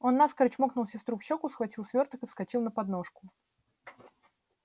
он наскоро чмокнул сестру в щеку схватил свёрток и вскочил на подножку